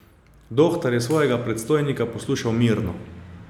Dohtar je svojega predstojnika poslušal mirno.